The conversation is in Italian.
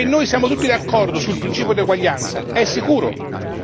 Che noi siamo tutti d'accordo sul principio di eguaglianza è sicuro.